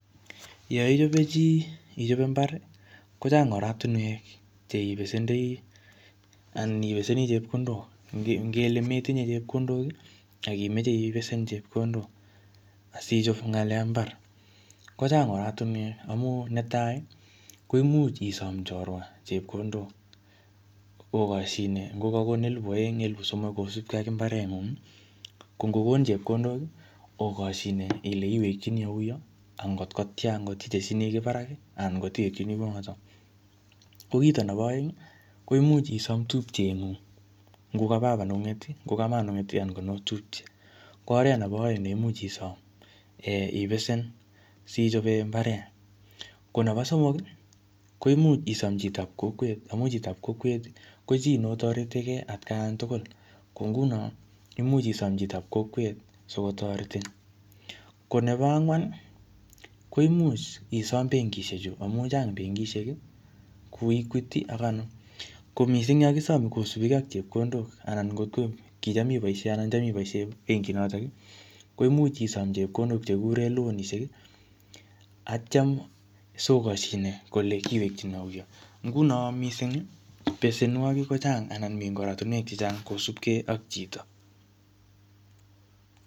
yeichobi chii ichobe imbaar iih kochang oratinweek cheibesendoii, anibesenii chepkondook ngele metinye chepkondook iih ak imoche ibesen chepkondook asichob ngaleek ab imbaar kochang oratinweek, amuun netai koimuch isoom chorwa chepkondook ogosyine kogagoon elibushek oeng, elibushek somok kosubgee ak imbareengung iih ko ngogoon chepkondook iih ogosyine kole iwekyinii auu angot ko tyaan itestini kii barak iih anan ngot iwekyinii kouu noton, ko kiit nebo oeng iih koimuch isoom tupchengung ngo kababa nengung, ngo kamama nengung neotupche, ko oreet nebo oeng neimuch isoom ibesen sichobeen imbareet, ngo nebo somok komuch isoom chitaab kokweet amuun chitab kokweet iih ko chi notoretigee atkaan tugul, imuch isoom chitaab kokweet sikotoretin, ko nebo angwaan iih koimuch isoom bangeishek chu amuun chang bengishek iih koeguity anan ko mising kosubkee ak chepkondoo anan kitaam iboishen en bebgishek noton chegigureen lonishek atyaan ogoshine ile iwekyinii auu, ngunon mising iih besenwogik kochang anan mii artinweek chechang kosuub kee ak chito.